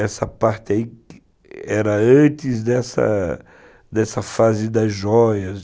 Essa parte aí era antes dessa dessa fase das joias.